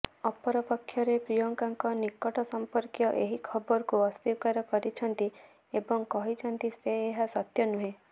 ଅପରପକ୍ଷରେ ପ୍ରିୟଙ୍କାଙ୍କ ନିକଟ ସମ୍ପର୍କୀୟ ଏହି ଖବରକୁ ଅସ୍ବୀକାର କରିଛନ୍ତି ଏବଂ କହିଛନ୍ତି ସେ ଏହା ସତ୍ୟ ନୁହେଁ